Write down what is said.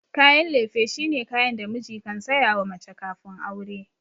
Kayan lefe shine kayan da miji kan sayawa mace kafin aure.